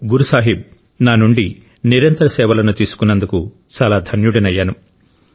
గురు సాహిబ్ నా నుండి నిరంతర సేవలను తీసుకున్నందుకు చాలా ధన్యుడినయ్యాను